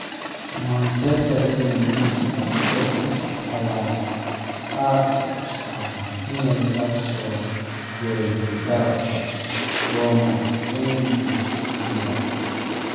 (Manchester Evening News) Leicester City ayaa qarka u saaran inay la soo wareegto garabka Roma Cengiz Under.